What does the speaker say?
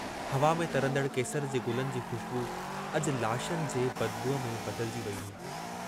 हवा में तरंदड़ केसर जे गुलनि जी ख़ुशबू अजु लाशनि जे बदबूइ में बदिलजी वेई हुई।